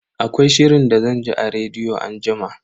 Akwai shirin da zan ji a rediyo anjima.